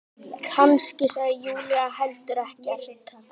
Kannski sagði Júlía heldur ekkert.